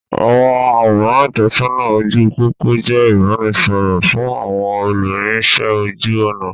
Àwọn àwòrán ìtọ́sọ́nà ojú pópó jẹ ìbánisọọ̀rọ̀ fún àwọn olúrinsẹ́ ojú ọnà.